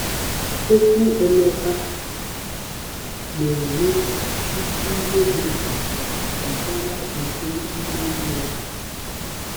Okwu Emeka na-eme isi ihe dị mkpa gbasara uto ime mmụọ.